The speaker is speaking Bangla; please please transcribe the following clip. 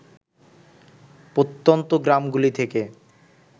প্রত্যন্ত গ্রামগুলি থেকে